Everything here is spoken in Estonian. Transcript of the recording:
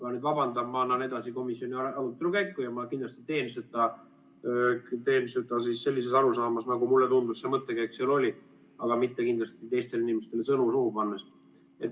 Ma nüüd vabandan, ma annan edasi komisjoni arutelu käiku ja ma kindlasti teen seda sellises arusaamas, nagu mulle tundus, see mõttekäik seal oli, aga kindlasti mitte teistele inimestele sõnu suhu pannes.